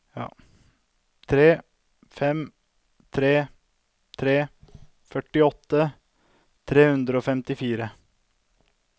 tre fem tre tre førtiåtte tre hundre og femtifire